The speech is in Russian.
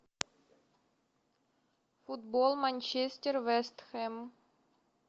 футбол манчестер вест хэм